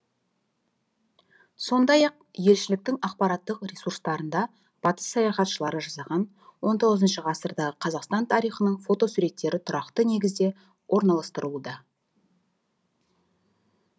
сондай ақ елшіліктің ақпараттық ресурстарында батыс саяхатшылары жасаған он тоғызыншы ғасырдағы қазақстан тарихының фотосуреттері тұрақты негізде орналастырылуда